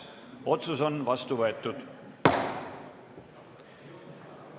Otsus on vastu võetud.